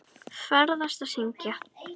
Ferðast og syngja.